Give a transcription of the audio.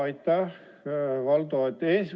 Aitäh, Valdo!